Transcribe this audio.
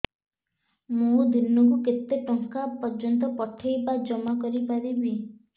ମୁ ଦିନକୁ କେତେ ଟଙ୍କା ପର୍ଯ୍ୟନ୍ତ ପଠେଇ ବା ଜମା କରି ପାରିବି